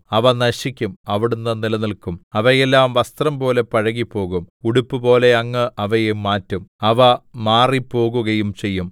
അവ നശിക്കും അവിടുന്ന് നിലനില്ക്കും അവയെല്ലാം വസ്ത്രംപോലെ പഴകിപ്പോകും ഉടുപ്പുപോലെ അങ്ങ് അവയെ മാറ്റും അവ മാറിപ്പോകുകയും ചെയ്യും